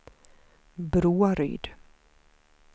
Broaryd